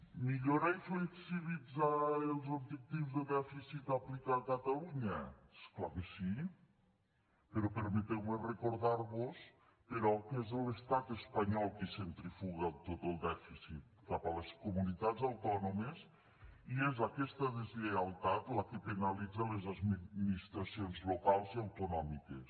millorar i flexibilitzar els objectius de dèficit a aplicar a catalunya és clar que sí però permeteu me recordar vos però que és l’estat espanyol qui centrifuga tot el dèficit cap a les comunitats autònomes i és aquesta deslleialtat la que penalitza les administracions locals i autonòmiques